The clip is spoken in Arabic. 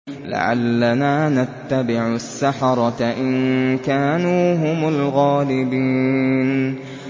لَعَلَّنَا نَتَّبِعُ السَّحَرَةَ إِن كَانُوا هُمُ الْغَالِبِينَ